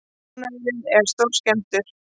Búnaðurinn er stórskemmdur